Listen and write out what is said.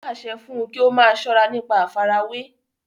wọn pàṣẹ fún un kí ó máa sọ́ra nípa àfarawé